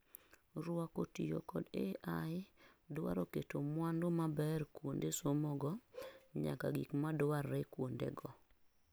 Ruako tiyo kod AI duaro keto mwandu maber kuonde somogo nyaka gik madwarre kuondego